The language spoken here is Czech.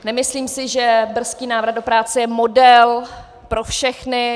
Nemyslím si, že brzký návrat do práce je model pro všechny.